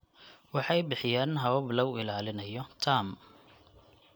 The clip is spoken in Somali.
Waxay bixiyaan habab lagu ilaalinayo taam.